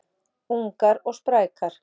Ungar og sprækar